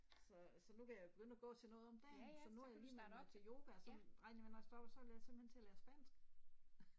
Så så nu vil jeg begynde at gå til noget om dagen så nu har jeg lige meldt mig til yoga og så regner jeg med at når jeg stopper så vil jeg simpelthen til at lære spansk